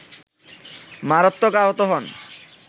মারাত্মক আহত হন